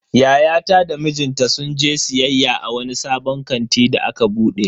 Yayata da mijinta sun je siyayya a wani sabon kanti da aka bude.